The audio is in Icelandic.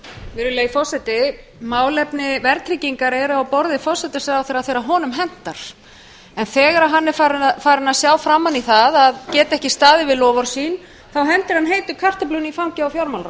virðulegi forseti málefni verðtryggingar eru á borði forsætisráðherra þegar honum hentar en þegar hann er farinn að sjá framan í það að geta ekki staðið við loforð sín þá hendir hann heitu kartöflunni í fangið á